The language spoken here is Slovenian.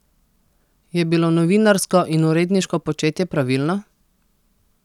Je bilo novinarsko in uredniško početje pravilno?